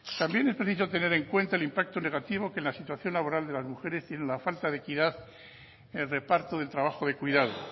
también es preciso tener en cuenta el impacto negativo que en la situación laboral de las mujeres y en la falta de equidad el reparto del trabajo de cuidado